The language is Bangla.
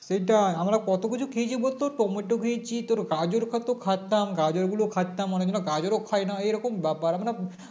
সেটাই আমরা কতকিছু খেয়েছি বলতো টমেটো খেয়েছি তোর গাজর কত খেতাম গাজর গুলো খেতাম অনেকদিন গাজর ও খাইনা এরকম বা বা মানে